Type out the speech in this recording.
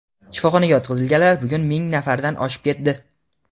Shifoxonaga yotqizilganlar bugun ming nafardan oshib ketdi.